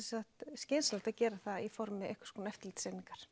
skynsamlegt að gera það í formi einhvers konar eftirlits einingar